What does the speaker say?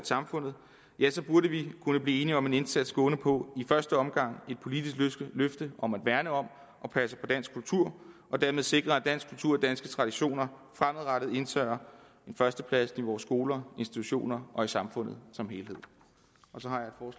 samfundet ja så burde vi kunne blive enige om en indsats gående på i første omgang et politisk løfte om at værne om og passe på dansk kultur og dermed sikre at dansk kultur og danske traditioner fremadrettet indtager en førsteplads i vore skoler institutioner og i samfundet som helhed